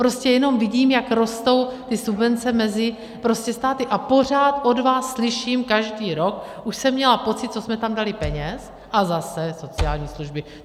Prostě jenom vidím, jak rostou ty subvence mezi státy, a pořád od vás slyším, každý rok, už jsem měla pocit, co jsme tam dali peněz - a zase, sociální služby.